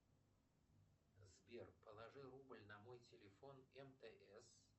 сбер положи рубль на мой телефон мтс